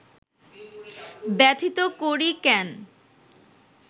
ব্যথিত করি কেন